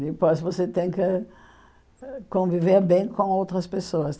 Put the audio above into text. Depois você tem que conviver bem com outras pessoas.